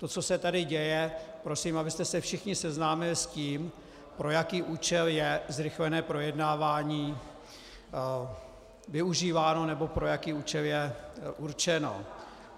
To, co se tady děje - prosím, abyste se všichni seznámili s tím, pro jaký účel je zrychlené projednávání využíváno, nebo pro jaký účel je určeno.